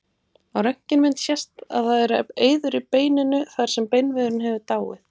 Á röntgenmynd sést að það eru eyður í beininu þar sem beinvefurinn hefur dáið.